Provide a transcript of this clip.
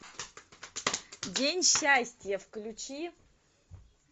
день счастья включи